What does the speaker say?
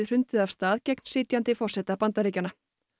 hrundið af stað gegn forseta Bandaríkjanna